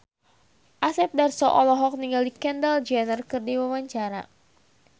Asep Darso olohok ningali Kendall Jenner keur diwawancara